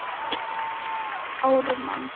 Bréfum frá þeim fækkaði og loks hættu þeir að skrifa.